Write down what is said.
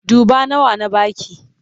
Duba nawa na ba ki!